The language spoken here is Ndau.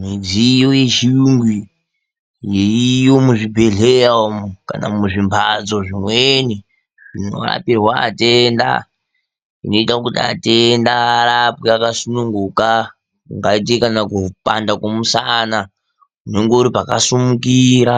Midziyo yechiyungu yeiyo muzvibhehleya umwu kana muzvimbatso zvimweni zvinorapirwa atenda zvinoita kuti atenda arapwe akasununguka kungaite kupanda kwemusana unenge uripakasimukira